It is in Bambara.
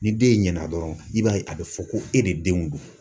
Ni den ɲɛna dɔrɔn i b'a ye a be fɔ ko e de denw don.